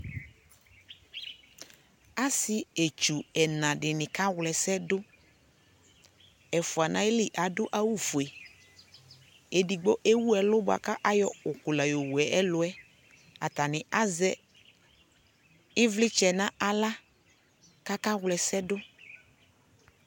asii ɛdzɔ ɛna di ka wlɛsɛ dʋ, ɛƒʋa nʋ ali adʋ awʋ ƒʋɛ, ɛdigbɔ ɛwʋ ɛlʋ bʋakʋ ayɔ ʋkʋ la yɔwʋ ɛlʋ, atani azɛ ivlitsɛ nʋ ala kʋ aka wlɛsɛ dʋ